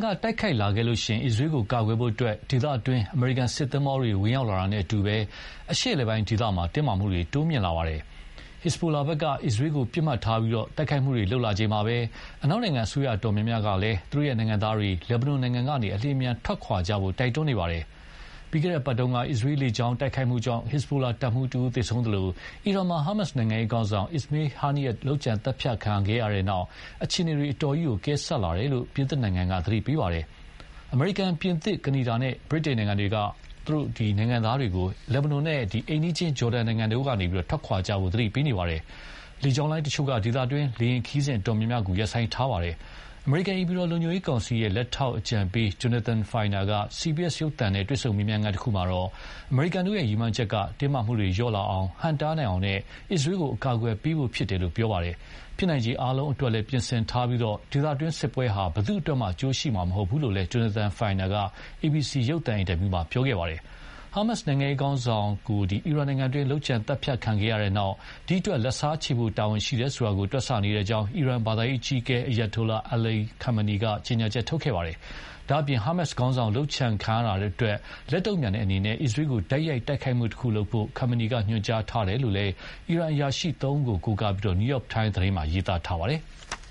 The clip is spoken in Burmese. ကတိုက်ခိုက်လာခဲ့ရင် အစ္စရေးကိုကာကွယ်ဖို့ ဒေသတွင်းကို အမေရိကန်စစ်သင်္ဘောတွေ ဝင်ရောက်လာတာနဲ့အတူ အရှေ့အလယ်ပိုင်းဒေသ တင်းမာမှုတွေတိုးမြင့်လာပါတယ်။ ဟက်ဇ်ဘိုလာဘက်က အစ္စရေးကိုပစ်မှတ်ထားပြီး တိုက်ခိုက်မှုတွေလုပ်လာချိန်မှာပဲ အနောက်နိုင်ငံအစိုးရအတော်များများကလည်း သူတို့နိုင်ငံသားတွေ လက်ဘနွန်နိုင်ငံကနေ အလျင်အမြန်ထွက်ခွာကြဖို့ တိုက်တွန်းနေပါတယ်။ ပြီးခဲ့တဲ့အပတ်က အစ္စရေးလေကြောင်းတိုက်ခိုက်မှုကြောင့် ဟက်ဇ်ဘိုလာတပ်မှူးတဦးသေဆုံးသလို အီရန်မှာ ဟာမတ် နိုင်ငံရေးခေါင်းဆောင် Ismail Haniyeh လုပ်ကြံသတ်ဖြတ်ခံရတဲ့နောက် အခြေအနေတွေဟာ အတော်ကြီးကို အကဲဆတ်လာတယ်လို့ ပြင်သစ်နိုင်ငံက သတိပေးပါတယ်။ အမေရိကန်၊ ပြင်သစ်၊ ကနေဒါနဲ့ ဗြိတိန်နိုင်ငံတွေ အားလုံးကို သူတို့နိုင်ငံသားတွေ လက်ဘနွန်နဲ့ အိမ်နီးချင်း ဂျော်ဒန်နိုင်ငံတို့ကနေ ထွက်ခွာကြဖို့ သတိပေးနေပါတယ်။ လေကြောင်းလိုင်းတချို့က ဒေသတွင်း လေယဉ်ခရီးစဉ်အတော်များများကို ရပ်ဆိုင်းထားကြပါတယ်။ အမေရိကန် အိမ်ဖြူတော်လုံခြုံရေးကောင်စီ လက်ထောက်အကြံပေး Jonathan Finer က CBS ရုပ်သံနဲ့ တွေ့ဆုံမေးမြန်းခန်း မှာတော့ အမေရိကန်တို့ရည်မှန်းချက်ကတော့ တင်းမာမှုတွေလျော့ကျလာအောင်၊ ဟန့်တားနိုင်အောင်နဲ့ အစ္စရေးကို အကာအကွယ်ပေးဖို့ဖြစ်တယ်လို့ ပြောပါတယ်။ ဖြစ်နိုင်ခြေအားလုံးအတွက်လည်း ပြင်ဆင်ထားပြီး ဒေသတွင်းစစ်ပွဲဟာ ဘယ်သူ့အတွက်မှ အကျိုးရှိမှာမဟုတ်ဘူးလို့လည်း Jonathan Finer က ABC ရုပ်သံ အင်တာဗျူးမှာ ပြောခဲ့ပါတယ်။ ဟာမတ်နိုင်ငံရေးခေါင်းဆောင်တဦး အီရန်နိုင်ငံတွင်း လုပ်ကြံသတ်ဖြတ်ခံရတဲ့နောက် ဒီအတွက် လက်စားချေဖို့ တာဝန်ရှိတယ်ဆိုတာကို တွက်ဆနေတယ်လို့ အီရန် ဘာသာရေးအကြီးအကဲ Ayatollah Ali Khamenei က ကြေညာချက်ထုတ်ခဲ့ပါတယ်။ ဒါ့အပြင် ဟာမတ်ခေါင်းဆောင်လုပ်ကြံခံရတာအတွက် လက်တုန့်ပြန်တဲ့အနေနဲ့ အစ္စရေးကို တိုက်ရိုက်တိုက်ခိုက်မှုတခုလုပ်ဖို့ Khamenei က ညွှန်ကြားထားတယ်လို့လည်း အီရန်အရာရှိသုံးဦးကို ကိုးကားပြီး New Yrok Time သတင်းမှာ ရေးထားပါတယ်။